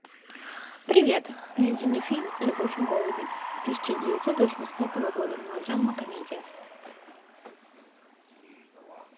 привет найди мне фильм любовь и голуби тысяча девятьсот восемьдесят пятого года мелодрама комедия